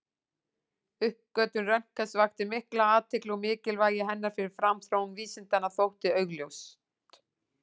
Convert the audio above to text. Uppgötvun Röntgens vakti mikla athygli og mikilvægi hennar fyrir framþróun vísindanna þótti augljóst.